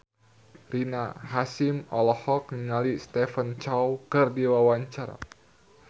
Rina Hasyim olohok ningali Stephen Chow keur diwawancara